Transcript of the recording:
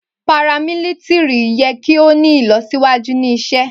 paramilitiri yẹ ki o ni ilọsiwaju ni isẹ